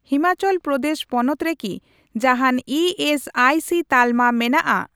ᱦᱤᱢᱟᱪᱚᱞ ᱯᱨᱚᱫᱮᱥ ᱯᱚᱱᱚᱛ ᱨᱮᱠᱤ ᱡᱟᱦᱟᱱ ᱤ ᱮᱥ ᱟᱭ ᱥᱤ ᱛᱟᱞᱢᱟ ᱢᱮᱱᱟᱜᱼᱟ ?